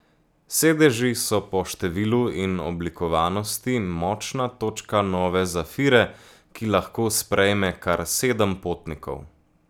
Sedeži so po številu in oblikovanosti močna točka nove Zafire, ki lahko sprejme kar sedem potnikov.